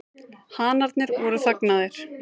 Hanarnir voru þagnaðir.